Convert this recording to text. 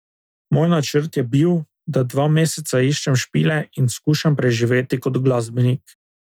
Moj načrt je bil, da dva meseca iščem špile in skušam preživeti kot glasbenik.